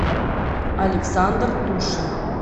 александр тушин